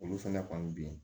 Olu fɛnɛ kɔni bi yen